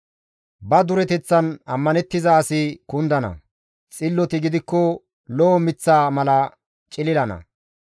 Ba dureteththan ammanettiza asi kundana; xilloti gidikko lo7o miththa mala cililana.